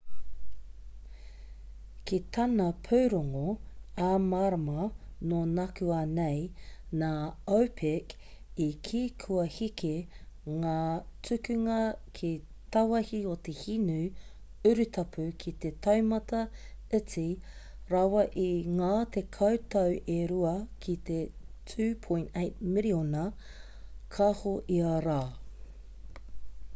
ki tana pūrongo ā-marama nō nākuanei nā opec i kī kua heke ngā tukunga ki tāwāhi o te hinu urutapu ki te taumata iti rawa i ngā tekau tau e rua ki te 2.8 miriona kāho ia rā